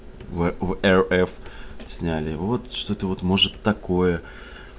в рф сняли вот что ты вот может такое